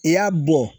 I y'a bɔ